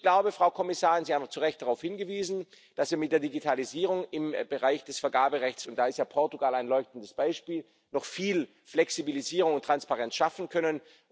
Ich glaube, Frau Kommissarin Sie haben zu Recht darauf hingewiesen dass wir mit der Digitalisierung im Bereich des Vergaberechts und da ist Portugal ein leuchtendes Beispiel noch viel Flexibilisierung und Transparenz schaffen können.